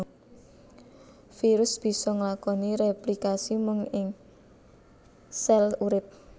Virus bisa nglakoni réplikasi mung ing sèl urip